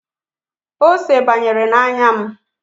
Ose banyere n'anya m